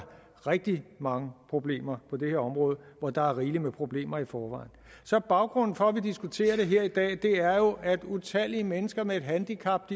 rigtig mange problemer på det her område hvor der er rigeligt med problemer i forvejen så baggrunden for at vi diskuterer det her i dag er jo at utallige mennesker med et handicap